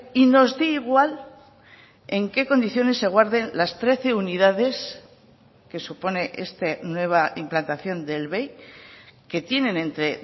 y nos dé igual en qué condiciones se guarden las trece unidades que supone esta nueva implantación del bei que tienen entre